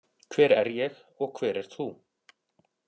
Hver er ég og hver ert þú?